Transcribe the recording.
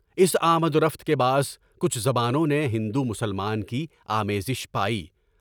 اس امد درفت کے باعث کچھ زبانوں نے ہندو مسلم کی آمیزش پائی۔